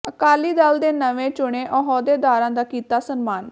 ਅਕਾਲੀ ਦਲ ਦੇ ਨਵੇਂ ਚੁਣੇ ਅਹੁਦੇਦਾਰਾਂ ਦਾ ਕੀਤਾ ਸਨਮਾਨ